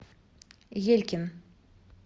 елькин